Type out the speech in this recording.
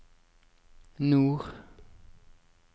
nord